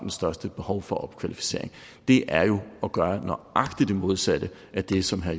største behov for opkvalificering det er jo at gøre nøjagtig det modsatte af det som herre